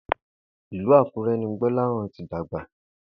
Ìlú Àkúré̩ ni Gbó̩láhàn ti dàgbà